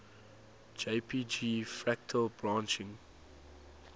jpg fractal branching